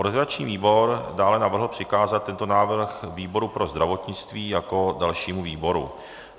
Organizační výbor dále navrhl přikázat tento návrh výboru pro zdravotnictví jako dalšímu výboru.